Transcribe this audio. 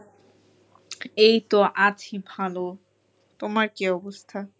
এই তো আছি ভালো। তোমার কী অবস্থা?